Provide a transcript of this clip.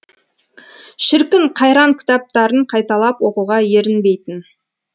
шіркін қайран кітаптарын қайталап оқуға ерінбейтін